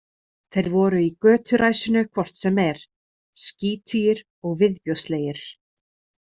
Þeir voru í göturæsinu hvort sem er, skítugir og viðbjóðslegir.